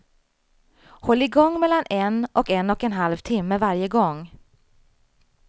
Håll igång mellan en och en och en halv timme varje gång.